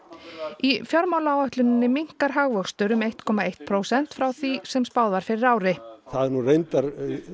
í fjármálaáætluninni minnkar hagvöxtur um eitt komma eitt prósent frá því sem spáð var fyrir ári það er nú reyndar